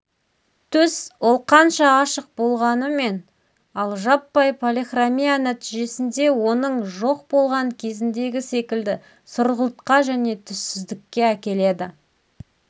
түс ол қанша ашық болғанымен ал жаппай полихромия нәтижесінде оның жоқ болған кезіндегі секілді сұрғылтқа және түссіздікке әкеледі